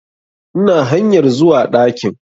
Ina hanyar zuwa ɗakin